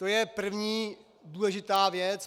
To je první důležitá věc.